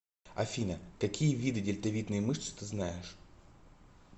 афина какие виды дельтовидные мышцы ты знаешь